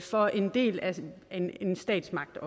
for en del af statsmagten